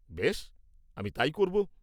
বেশ, আমি তাই করব।